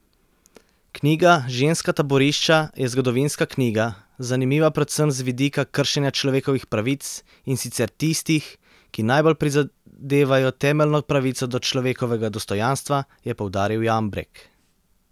Knjiga Ženska taborišča je zgodovinska knjiga, zanimiva predvsem z vidika kršenja človekovih pravic, in sicer tistih, ki najbolj prizadevajo temeljno pravico do človekovega dostojanstva, je poudaril Jambrek.